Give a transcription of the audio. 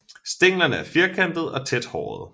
Stænglerne er firkantede og tæt hårede